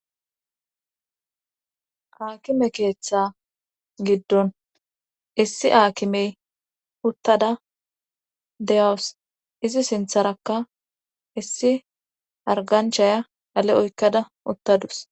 Haakime keeththa giddon issi aakimey uttada deyawus izi sintharakka issi arganchaya ale oykkada uttadus.